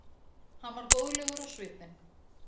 Hann var góðlegur á svipinn.